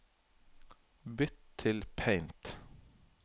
Bytt til Paint